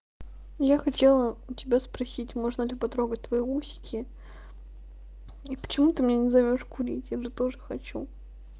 я хотела у тебя спросить можно ли потрогать твои усики и почему ты меня не зовёшь курить я же тоже хочу